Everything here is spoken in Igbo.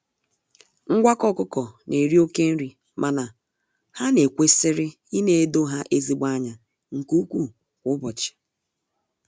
Ngwakọ ọkụkọ na-eri oke nri mana ha na ekwesiri ịnedo ha ezigbo anya nke ụkwụ kwa ụbọchị.